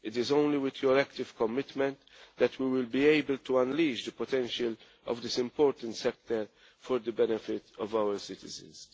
It is only with their active commitment that we will be able to unleash the potential of this important sector for the benefit of our citizens.